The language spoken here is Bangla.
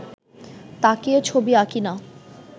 তাকিয়ে ছবি আঁকি না